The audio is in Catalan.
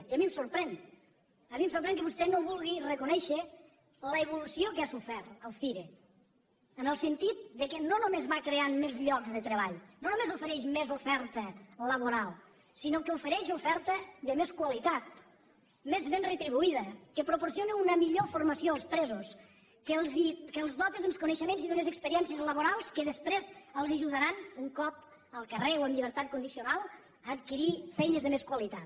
i a mi em sorprèn a mi em sorprèn que vostè no vulgui reconèixer l’evolució que ha sofert el cire en el sentit que no només va creant més llocs de treball no només ofereix més oferta laboral sinó que ofereix oferta de més qualitat més ben retribuïda que proporciona una millor formació als presos que els dota d’uns coneixements i d’unes experiències laborals que després els ajudaran un cop al carrer o amb llibertat condicional a adquirir feines de més qualitat